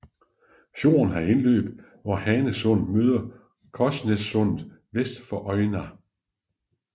Fjorden har indløb hvor Hanesundet møder Krossnessundet vest for Øyna